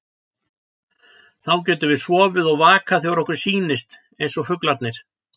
Þá getum við sofið og vakað þegar okkur sýnist, eins og fuglarnir.